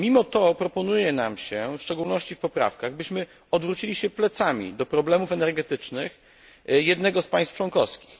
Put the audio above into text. Mimo to proponuje się nam, w szczególności w poprawkach, byśmy odwrócili się plecami do problemów energetycznych jednego z państw członkowskich.